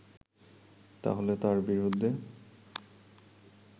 তাহলে তার বিরুদ্ধে